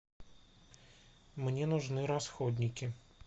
мне нужны расходники